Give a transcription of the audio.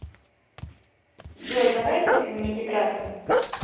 джой давай купим мне тетрадку